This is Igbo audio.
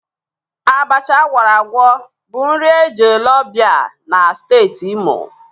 Abacha ágwọ̀rọ̀ ágwọ̀ bụ nri eji ele ọ̀bịá na Steeti Imo.